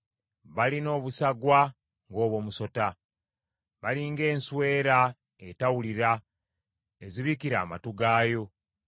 Balina obusagwa ng’obw’omusota; bali ng’enswera etawulira ezibikira amatu gaayo;